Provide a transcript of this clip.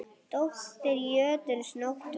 Dóttir jötuns Nótt var.